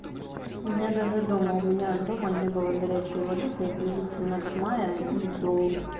у меня даже дома у меня дома не было горячей воды приблизительно с мая и до